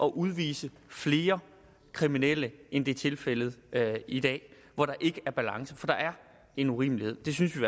udvise flere kriminelle end det er tilfældet i dag hvor der ikke er balance for der er en urimelighed det synes vi